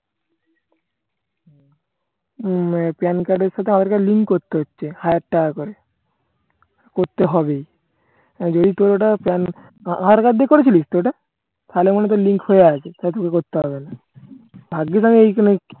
PAN card এর সাথে Aadhaar card link করতে হচ্ছে হাজার টাকা করে। করতে হবেই। যদি তোর ওটা PAN আধার card দিয়ে করেছিলিস তো ওটা তাহলে মনে হয় link হয়ে আছে তোকে আর করতে হবে না। ভাগ্যিস আমি এই ক